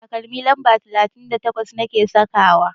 Takalmi lamba talatin da takwas nake sakawa.